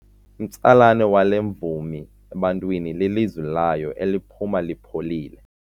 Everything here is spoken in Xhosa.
Umtsalane wale mvumi ebantwini lilizwi layo eliphuma lipholile.